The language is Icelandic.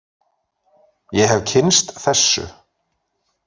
Ég hef kynnst þessu.